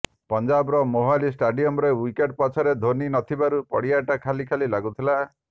ପଂଜାବର ମୋହାଲି ଷ୍ଟାଡିୟମରେ ୱିକେଟ ପଛରେ ଧୋନୀ ନଥିବାରୁ ପଡ଼ିଆଟା ଖାଲି ଖାଲି ଲାଗୁଥିଲା